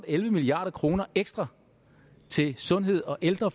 elleve milliard kroner ekstra til sundhed og ældre